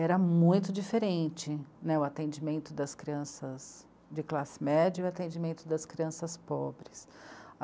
Era muito diferente né, o atendimento das crianças de classe média e o atendimento das crianças pobres.